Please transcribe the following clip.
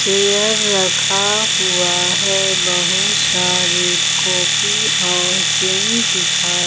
chair रखा हुआ है बहुत सारी कॉपी और पेन दिखा--